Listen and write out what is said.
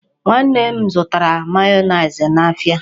Nwanne m zụtara mayonees n'ahịa.